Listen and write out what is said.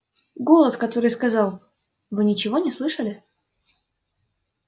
голос который сказал вы ничего не слышали